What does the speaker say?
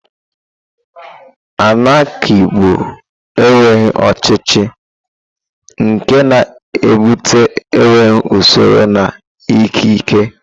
Anarki bụ enweghị ọchịchị, nke na-ebute enweghị usoro na ikike.